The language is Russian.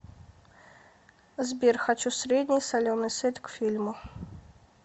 сбер хочу средний соленый сет к фильму